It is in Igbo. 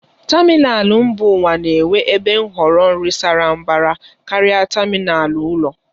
Tamịnal mba ụwa na-enwe ebe nhọrọ nri sara mbara karịa tamịnal ụlọ.